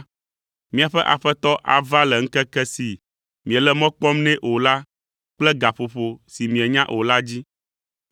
miaƒe aƒetɔ ava le ŋkeke si miele mɔ kpɔm nɛ o kple gaƒoƒo si mienya o la dzi,